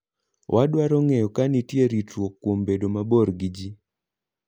Wadwaro ng'eyo ka nitie ritruok kuom bedo mabor gi ji.